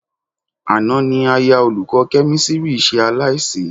Àná ni aya olùkọ́ Kẹ́mísírì ṣe aláìsí